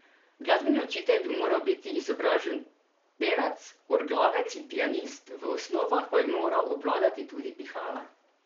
Glasbeni učitelj bi moral biti izobražen pevec, orglavec in pianist, v osnovah pa bi moral obvladati tudi pihala.